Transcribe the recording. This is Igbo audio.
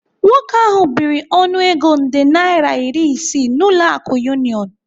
Nwoke ahu biri ọnụego nde naira iri isii n'ụlọ akụ Union.